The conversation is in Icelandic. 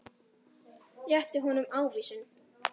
Rétti honum ávísun.